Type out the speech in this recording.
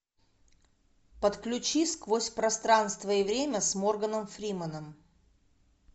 подключи сквозь пространство и время с морганом фрименом